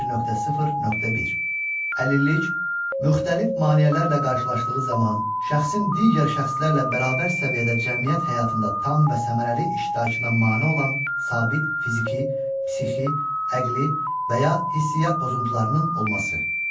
1.0.1. Əlillik müxtəlif maneələrlə qarşılaşdığı zaman şəxsin digər şəxslərlə bərabər səviyyədə cəmiyyət həyatında tam və səmərəli iştirakına mane olan sabit fiziki, psixi, əqli və ya hisiyyat pozuntularının olması.